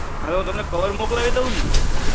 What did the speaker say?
હવે વો તમને cover મોકલાવી દેઉ ને